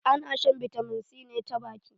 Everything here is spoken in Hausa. Ana shan bitamin c ne ta baki.